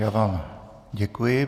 Já vám děkuji.